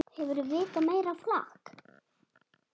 Hefurðu vitað meira flak!